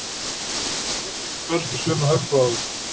Viðkomandi getur ekki barist af sömu hörku og áður.